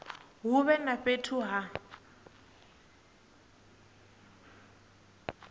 hu vhe na fhethu ha